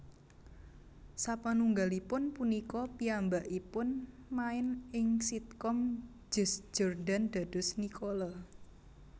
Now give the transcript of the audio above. Sapanunggalipun punika piyambakipun main ing sitkom Just Jordan dados Nicole